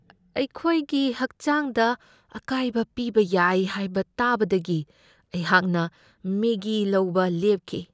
ꯑꯩꯈꯣꯏꯒꯤ ꯍꯛꯆꯥꯡꯗ ꯑꯀꯥꯏꯕ ꯄꯤꯕ ꯌꯥꯏ ꯍꯥꯏꯕ ꯇꯥꯕꯗꯒꯤ ꯑꯩꯍꯥꯛꯅ ꯃꯦꯒꯤ ꯂꯧꯕ ꯂꯦꯞꯈꯤ꯫